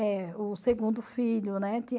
É, o segundo filho, né?